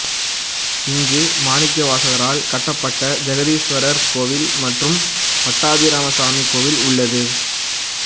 இங்கு மாணிக்கவாசகரால் கட்டப்பட்ட ஜெகதீஸ்வரார் கோயில் மற்றும் பட்டாபிராமசாமி கோயில் உள்ளது